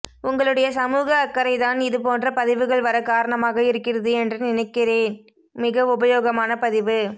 உங்களுடைய சமூக அக்கறை தான் இது போன்ற பதிவுகள் வர காரணமாக இருக்கிறது என்று நினைக்கிறேப் மிக உபயோகமான பதிவு